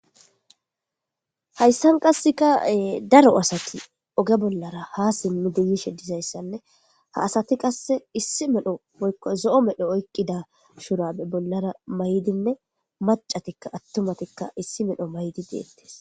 hayssan qassekae daro asati oge bollara ha simnu diyishe dizayssanne ha asati qasse issi medho ykko zo7o medho oyqqida shurame bollara maydinne macatikka attumatikka issi medho maydi geettes